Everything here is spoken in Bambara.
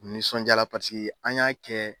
Nisɔnjala paseke an y'a kɛ